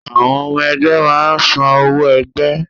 Àwọn ọmọ ẹgbẹ́ máa ń san owó ẹgbẹ́